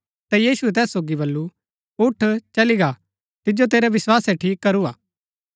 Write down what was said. ता यीशुऐ तैस सोगी बल्लू उठ चली गा तिजो तेरै विस्वासै ठीक करूआ